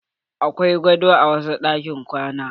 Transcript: Akwai gado a wasg ɗakin kwana.